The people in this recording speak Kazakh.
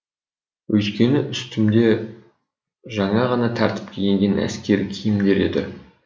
өйткені үстімде жаңа ғана тәртіпке енген әскери киімдер еді